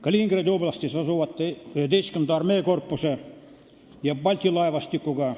Kaliningradi oblastis asuvate 11. armeekorpuse ja Balti laevastikuga.